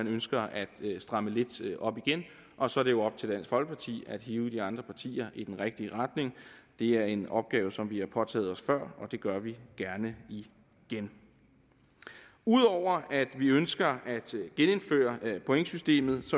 ønsker at stramme lidt op igen og så er det jo op til dansk folkeparti at hive de andre partier i den rigtige retning det er en opgave som vi har påtaget os før og det gør vi gerne igen ud over at vi ønsker at genindføre pointsystemet